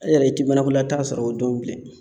E yɛrɛ i ti banakolata sɔrɔ o don bilen.